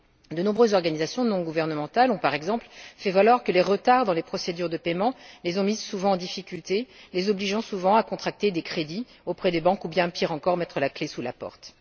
De nombreuses organisations non gouvernementales ont par exemple fait valoir que les retards dans les procédures de paiement les ont mises en difficulté, les obligeant souvent à contracter des crédits auprès des banques ou bien, pire encore, à mettre la clef sous la porte.